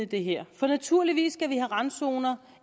det her for naturligvis skal vi have randzoner